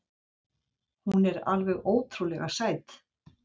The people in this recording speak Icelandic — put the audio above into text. Hún var alveg ótrúlega sæt.